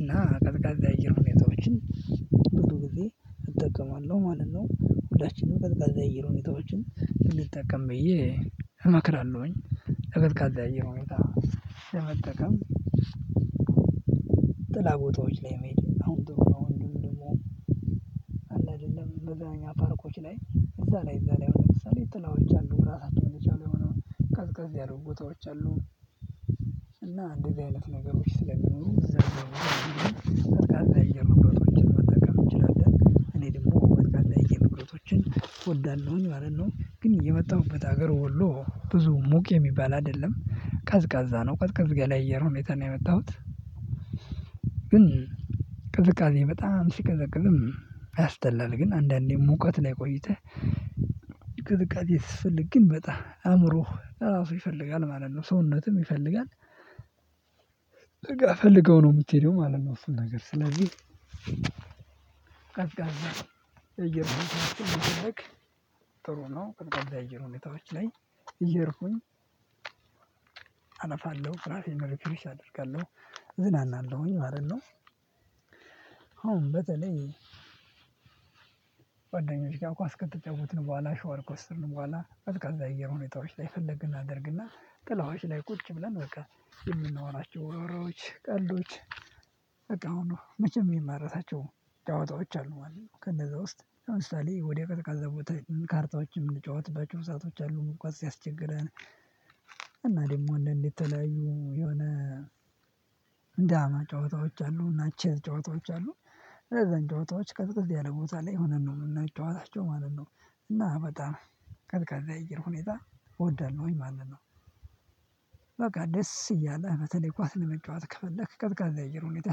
እና ቀዝቃዛ የአየር ሁኔታዎችን ብዙ ጊዜ እጠቀማለሁ ማለት ነው ሁላችንም ቀዝቃዛ የሆኑ ሁኔታዎችን ብንጠቀም ብዬ እመክራለሁኝ የቀዝቃዛ የአየር ሁኔታ ለመጠቀም ጥላ ቦታዎች ላይ መሄድ አሁን ጥሩ ነው እንዲሁም ደግሞ አለ አይደለም መዝናኛ ፓርኮች ላይ እዛ ላይ እዛ ላይ አሁን ለምሳሌ ጥላዎች አሉ ራሳቸውን የቻሉ የሆነውን ቀዝቀዝ ያሉ ቦታዎች አሉ እና አንደዚ አይነት ነገሮች ስለሚኖሩ ቀዝቃዛ የአየር ሁኔታዎች መጠቀም እንችላለን እኔ ደግሞ ቀዝቃዛ የአየር ንብረቶችን እወዳለሁኝ ማለት ነው ግን የመጣሁበት ሀገር ወሎ ብዙ ሙቅ የሚባል አይደለም ቀዝቃዛ ነው ቀዝቀዝ ያለ እየር ሁኔታ ነው የመጣሁት ግን ቅዝቃዜ በጣም ሲቀዘቅም አያስጠላል ግን አንዳንዴ ሙቀት ላይ ቆይተህ የሰፈለግ አእምሮህ ለራሱ ይፈልጋል ማለት ነው ሰውነትም ይፈልጋል ፈልገኀው የምትሄደው ማለት ነው እሱን ነገር ስለዚህ ቀዝቃዛ የአየር ሁኔታዎች መፈለግ ጥሩ ነው ቀዝቃዛ የአየር ሁኔታዎች ላይ እየሄድኩኝ አለፋለሁ ራሴን ሪፍሬሽ አደርጋለሁ እዝናናለሁኝ ማለት ነው። አሁን በተለይ ጓዳኞች ጋር ኳስ ከተጫወትን በኋላ ሸዋር ከወሰድን በኋላ ቀዝቃዛ የአየር ሁኔታዎች ላይ ፈለግን እናደርግና ጥላዎች ላይ ቁጭ ብለን በቃ የምናወራቸው ወረዎች ቀልዶች መቼም የማልረሳቸው ጫዋታዎች አሉ ማለት ነው ከነዛ ውስጥ ለምሳሌ ወደ ቀዝቃዛ ቦታ ካርታዎችን የምንጫወት ሰአቶች አሉ ሙቀት ሲያስቸግረን እና ደግሞ እንዳንድ የተለያዩ የሆነ እንደ አማ ጨዋታዎች አሉ እና ቼዝ ጨዋታዎች አሉ እነዛን ጨዋታዎች ቀዝቅዝ ያለ ቦታ ላይ ሆነን ነው እና የምናጨዋታቸው ማለት ነው እና በጣም ቀዝቃዛ የአየር ሁኔታ እወዳለሁኝ ማለት ነው በቃ ደስ እያለህ በተለይ ኳስ ለመጫወት ከፈለክ ቀዝቃዛ የአየር ሁኔታ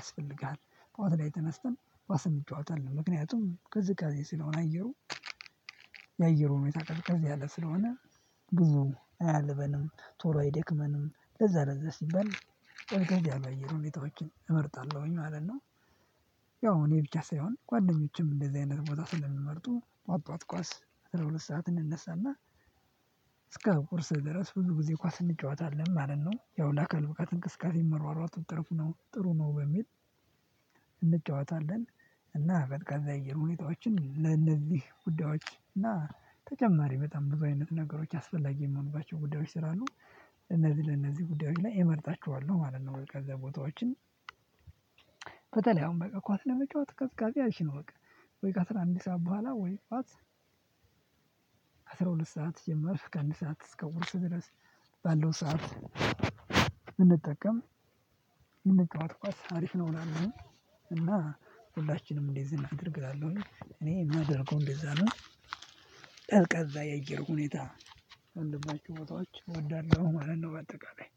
ያስፈልግሃል ጧት ላይ ተነስተን ኳስ እንጫወታለን ምክንያቱም ቅዝቃዜ ስለሆነ አየሩ የአየሩ ሁኔታ ቀዝቀዝ ያለ ስለሆነ ብዙ አያልበንም፤ ቶሎ አይደክመንም፤ ለዛ ለዛ ሲባል ቀዝቀዝ ያሉ የአየር ሁኔታዎችን እመርጣለሁኝ ማለት ነው። ያው እኔ ብቻ ሳይሆን ጓደኞችም እንደዚህ አይነት ቦታ ስለሚመርጡ ጠዋት ጠዋት ኳስ አስራ ሁለት ሰዓት እንነሳና እስከ ቁርስ ድረስ ብዙ ጊዜ ኳስ እንጫወታለን ማለት ነው። ያው ለአካል ብቃት እንቅስቃሴ መሯሯጡ ጥሩ ነው ጥሩ ነው በሚል እንጫወታለን። እና ቀዝቃዛ የአየር ሁኔታዎችን ለእነዚህ ጉዳዮች እና ተጨማሪ በጣም ብዙ አይነት ነገሮች አስፈላጊ የሚሆንባቸው ጉዳዮች ስላሉ እነዚህ ለእነዚህ ጉዳዮች ላይ እመርጣቸዋለሁ። ማለት ነው ቀዝቃዛ ቦታዎችን በተለይ አሁን በቃ ኳስ ለመጫወት ቀዝቃዝ አይቼ ነው በቃ ወይ ከአስራ አንድ ሰዓት በኋላ ወይ ጠዋት ከ አስራሁለት ሰዓት ጀመርክ እስከ አንድ ሰዓት እስከ ቁርስ ድረስ ባለው ሰዓት እንጠቀም ብንጫወት ኳስ አሪፍ ነው እላለሁኝ እና ሁላችንም እንደዚህ እናደርግላለን እላለሁኝ እኔ የማደርገው እንደዛ ነው ቀዝቃዛ የአየር ሁኔታ ያለባቸው ቦታዎች እወዳለሁ ማለት ነው በአጠቃላይ